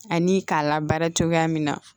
Ani k'a la baara cogoya min na